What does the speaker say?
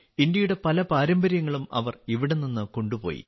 ഇന്ത്യയുടെ പല പാരമ്പര്യങ്ങളും അവർ ഇവിടെ നിന്ന് കൊണ്ടുപോയി